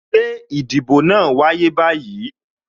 Ṣé ìdìbò náà wáyé báyìí?